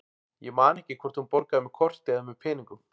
Ég man ekki hvort hún borgaði með korti eða með peningum.